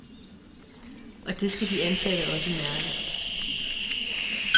Og det skal de ansatte også mærke.